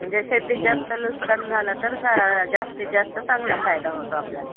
म्हणजे शेतीत जास्त नुकसान झालं तर जास्तीत जास्त चांगला फायदा होतो आपल्याला त्याचा.